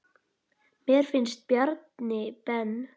Mér finnst Bjarni Ben.